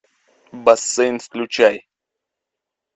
бассейн включай